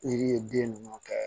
Yiri ye den ninnu kɛ